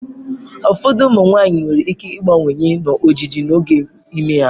Ụfọdụ ụmụ nwanyị nwere ike ịbawanye n'ojiji n'oge ime ha.